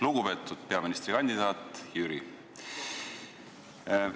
Lugupeetud peaministrikandidaat Jüri!